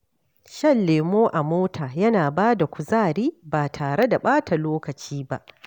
Shan lemo a mota yana ba da kuzari ba tare da ɓata lokaci ba.